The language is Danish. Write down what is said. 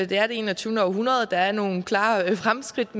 det er det enogtyvende århundrede og der er nogle klare fremskridt